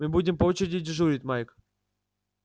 мы будем по очереди дежурить майк